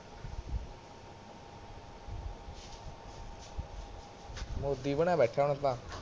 ਮੋਦੀ ਬਣਿਆ ਬੈਠਾ ਹੁਣ ਤਾਂ